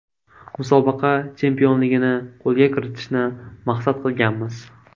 Musobaqa chempionligini qo‘lga kiritishni maqsad qilganmiz.